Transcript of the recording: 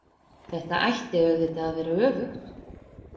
Þetta ætti auðvitað að vera öfugt.